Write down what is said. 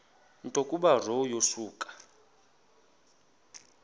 nto kubarrow yokusa